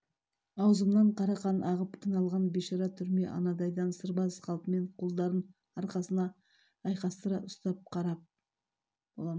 аузымнан қара қан ағып қиналған бейшара түрме анадайдан сырбаз қалпымен қолдарын арқасына айқастыра ұстап қарап